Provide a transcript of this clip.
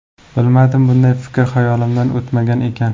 Bilmadim, bunday fikr xayolimdan o‘tmagan ekan.